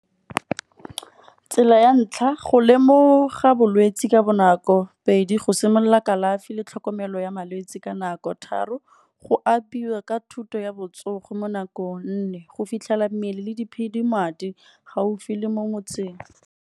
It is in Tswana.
Tsela ya ntlha go lemoga bolwetsi ka bonako. Pedi go simolola kalafi le tlhokomelo ya malwetsi ka nako. Tharo go apiwa ka thuto ya botsogo mo nakong. Nne go fitlhela mmele le diphedimadi gaufi le mo motseng.